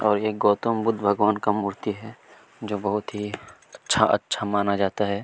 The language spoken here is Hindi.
और ये गौतम बुद्ध भगवान का मूर्ति है जो बहुत ही अच्छा-अच्छा माना जाता है।